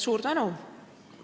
Suur tänu!